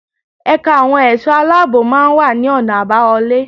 Ẹ̀ka àwọn ẹ̀ṣọ́ aláàbò máa wà ní ọ̀nà àbáwọlé.